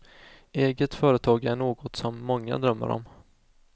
Eget företag är något som många drömmer om.